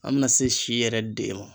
An mina se si yɛrɛ den ma